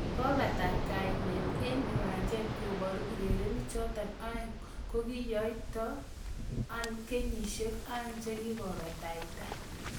Kopata kinetee eng kiwanja koboru urerenik choto aeng kokiyaito anonkenyisiek aeng chikikopataita.